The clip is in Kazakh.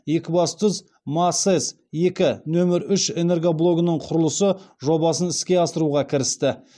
екібастұз масэс екі нөмір үш энергоблогының құрылысы жобасын іске асыруға кірісті